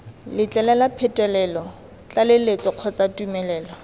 letlelela phetolo tlaleletso kgotsa tumelelo